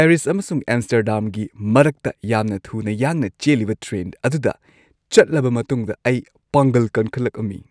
Paris ꯑꯃꯁꯨꯡ ꯑꯝꯁ꯭ꯇꯔꯗꯥꯝꯒꯤ ꯃꯔꯛꯇ ꯌꯥꯝꯅ ꯊꯨꯅ ꯌꯥꯡꯅ ꯆꯦꯜꯂꯤꯕ ꯇ꯭ꯔꯦꯟ ꯑꯗꯨꯗ ꯆꯠꯂꯕ ꯃꯇꯨꯡꯗ ꯑꯩ ꯄꯥꯡꯒꯜ ꯀꯟꯈꯠꯂꯛꯑꯝꯃꯤ ꯫